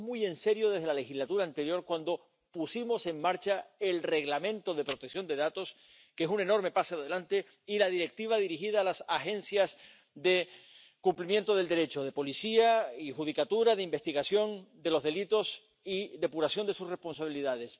Lo tomamos muy en serio desde la legislatura anterior, cuando pusimos en marcha el Reglamento de protección de datos, que es un enorme paso adelante, y la Directiva dirigida a las agencias de cumplimiento del Derecho, de policía y judicatura, de investigación de los delitos y depuración de sus responsabilidades.